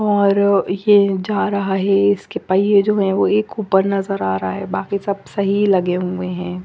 और ये जा रहा है इसके पईये जो है एक उपर नज़र आ रहा है बाकी सब सही लगे हुए है।